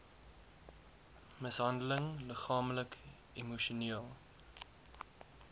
mishandeling liggaamlik emosioneel